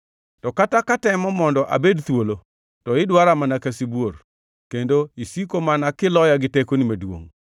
To kata katemo mondo abed thuolo to idwara mana ka sibuor, kendo isiko mana kiloya gi tekoni maduongʼ.